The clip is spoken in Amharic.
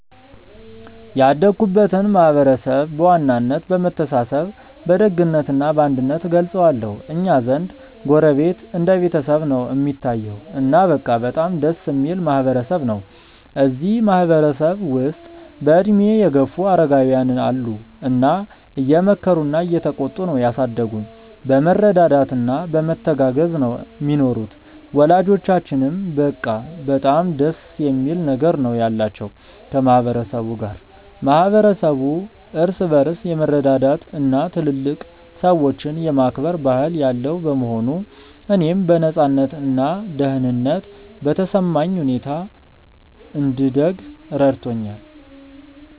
ያደግኩበትን ማህበረሰብ በዋናነት በመተሳሰብ በደግነት እና በአንድነት እገልጸዋለሁ። እኛ ዘንድ ጎረቤት እንደ ቤተሰብ ነው እሚታየዉ። እና በቃ በጣም ደስ እሚል ማህበረ ሰብ ነው። እዚህ ማህበረ ሰብ ውስጥ በእድሜ የገፉ አረጋውያን አሉ እና እየመከሩና እየተቆጡ ነው ያሳደጉን። በመረዳዳት እና በመተጋገዝ ነው ሚኖሩት። ወላጆቻችንም በቃ በጣም ደስ የሚል ነገር ነው ያላቸው ከ ማህበረ ሰቡ ጋር። ማህበረሰቡ እርስ በርስ የመረዳዳት እና ትልልቅ ሰዎችን የማክበር ባህል ያለው በመሆኑ፣ እኔም በነፃነት እና ደህንነት በተሰማኝ ሁኔታ እንድደግ ረድቶኛል።